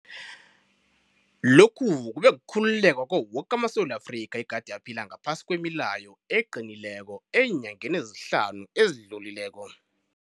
Lokhu kube kukhululeka kwawo woke amaSewula Afrika egade aphila ngaphasi kwemileyo eqinileko eenyangeni ezihlanu ezidlulileko.